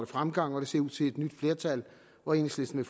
fremgang og det ser ud til et nyt flertal hvor enhedslisten